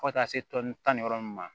Fo ka taa se tɔni tan ni wɔɔrɔ ninnu ma